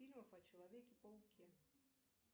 фильмов о человеке пауке